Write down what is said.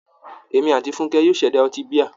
Èmi àti Fúnkẹ́ yóò ṣẹ̀dá ọtí bíà.